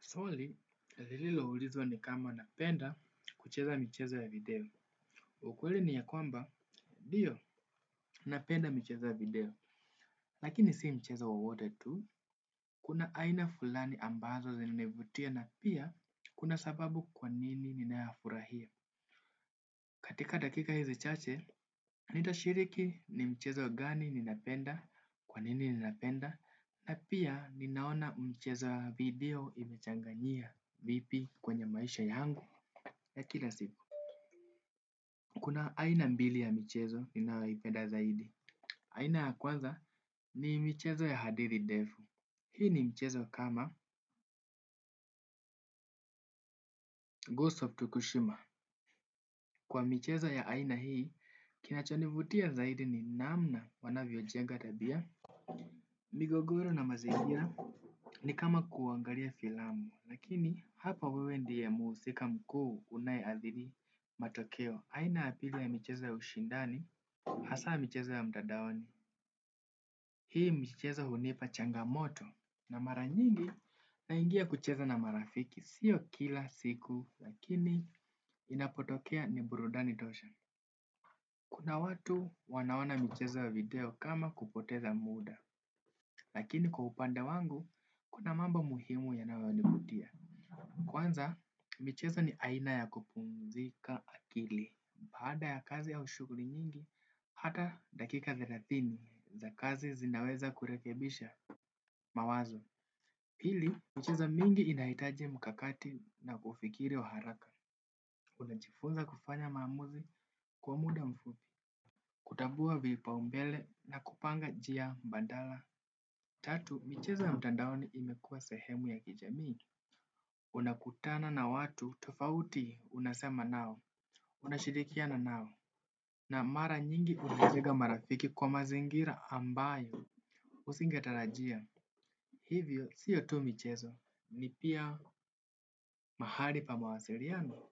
Soli, lililoulizwa ni kama napenda kucheza mcheza ya video. Ukweli ni ya kwamba, ndio, napenda mchezo ya video. Lakini si mchezo wowote tu, kuna aina fulani ambazo zimevutia na pia kuna sababu kwanini ninayafurahia. Katika dakika hizi chache, nitashiriki ni mchezo wa gani ninapenda, kwanini ninapenda, na pia ninaona mchezaa video imechangania vipi kwenye maisha yangu ya kila siku. Kuna aina mbili ya michezo ninayoipenda zaidi. Aina ya kwanza ni michezo ya hadiri defu. Hii ni michezo kama Ghost of Tukushima. Kwa michezo ya aina hii, kinachonivutia zaidi ni namna wanavyojenga tabia. Migogoro na mazingira ni kama kuangalia filamu, lakini hapa wewe ndi ya muhusika mkuu unaeadhiri matokeo. Aina ya pili ya michezo ya ushindani, hasa michezo ya mtadaoni, hii michezo hunipa changamoto na mara nyingi naingia kucheza na marafiki. Sio kila siku lakini inapotokea ni burudani tosha. Kuna watu wanaona mchezo video kama kupoteza muda, lakini kwa upanda wangu, kuna mambo muhimu yanayonivutia. Kwanza, mchezo ni aina ya kupumzika akili, baada ya kazi au shughuli nyingi, hata dakika thelathini za kazi zinaweza kurekebisha mawazo. Pili, mchezo mingi inahitaji mkakati na kufikiri wa haraka. Unachifunza kufanya maamuzi kwa muda mfupi, kutambua vipaumbele na kupanga njia mbadala. Tatu, michezo mtandaoni imekua sehemu ya kijamii. Unakutana na watu tofauti unasema nao. Unashirikiana nao. Na mara nyingi unajega marafiki kwa mazingira ambayo. Usingetarajia. Hivyo, siyo tu michezo, ni pia mahali pa mawasiriano?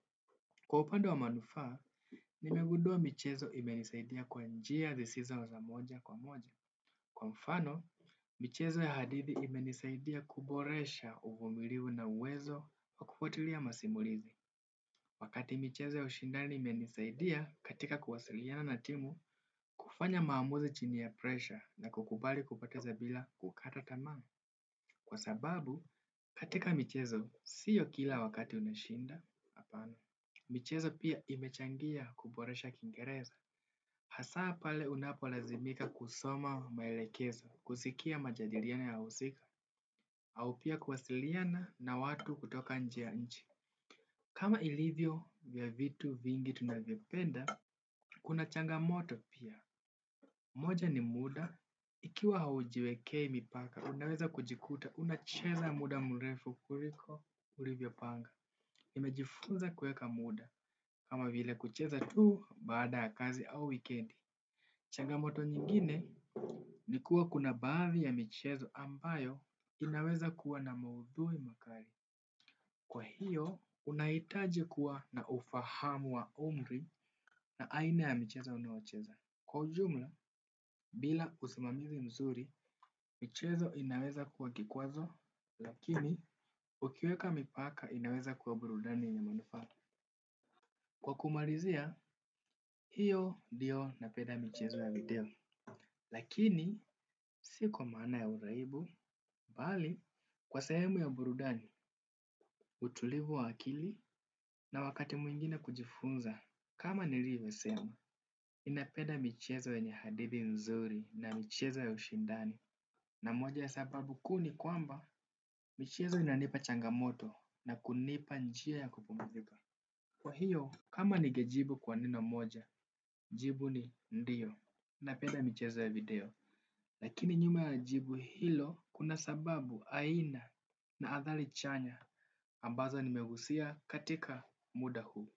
Kwa upande wa manufaa, nimegudua michezo imenisaidia kwa njia zisizo na moja kwa moja. Kwa mfano, michezo ya hadithi imenisaidia kuboresha uvumilivu na uwezo wa kufuatilia masimulizi. Wakati michezo ya ushindani imenisaidia katika kuwasiriana na timu kufanya maamuzi chini ya presha na kukubali kupoteza bila kukata tamaa. Kwa sababu, katika michezo, siyo kila wakati unashinda, apana. Michezo pia imechangia kuboresha kiingereza. Hasaa pale unapo lazimika kusoma maelekezo, kusikia majadiriano ya wa husika, au pia kuwasiliana na watu kutoka nje ya nchi. Kama ilivyo vya vitu vingi tunavyovipenda, kuna changa moto pia. Moja ni muda, ikiwa haujiwekei mipaka, unaweza kujikuta, unacheza muda mrefu kuriko ulivyo panga. Nimejifunza kueka muda, kama vile kucheza tuu baada ya kazi au weekendi. Changamoto nyingine ni kuwa kuna baadhi ya michezo ambayo inaweza kuwa na maudhui makari. Kwa hiyo, unaitaji kuwa na ufahamu wa umri na aina ya michezo unayocheza. Kwa ujumla, bila usimamizi mzuri, michezo inaweza kua kikwazo, lakini ukiweka mipaka inaweza kuwa burudani inayofaa. Kwa kumarizia, hiyo dio na peda michezo ya video. Lakini, sio kwa maana ya uraibu, bali, kwa sehemu ya burudani, utulivu wa akili na wakati mwingine kujifunza. Kama nilivyosema, ninapeda michezo yenye hadithi mzuri na michezo ya ushindani. Na moja ya sababu kuu ni kwamba, michezo inanipa changamoto na kunipa njia ya kupumzika. Kwa hiyo, kama nigejibu kwa neno moja, jibu ni ndiyo. Napenda michezo ya video. Lakini nyuma ya jibu hilo kuna sababu aina na habari chanya ambazo nimegusia katika muda huu.